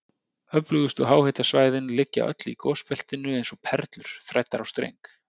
Öflugustu háhitasvæðin liggja öll í gosbeltinu eins og perlur þræddar á streng.